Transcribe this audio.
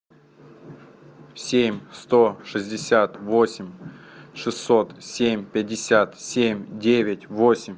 семь сто шестьдесят восемь шестьсот семь пятьдесят семь девять восемь